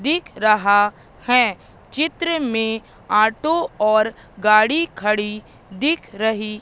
दिख रहा है चित्र में ऑटो और गाड़ी खड़ी दिख रही--